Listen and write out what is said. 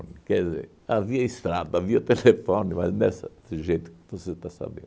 Quer dizer, havia estrada, havia telefone, mas nessa desse jeito que você está sabendo.